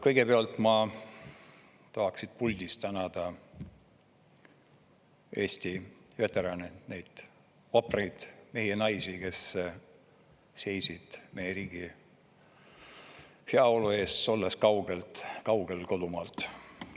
Kõigepealt ma tahaks siit puldist tänada Eesti veterane, neid vapraid mehi ja naisi, kes seisid meie riigi heaolu eest, olles kaugel-kaugel kodumaalt.